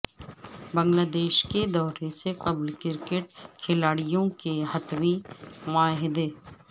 بنگلہ دیش کے دورے سے قبل کرکٹ کھلاڑیوں کے حتمی معاہدے